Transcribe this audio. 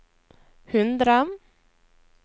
hundre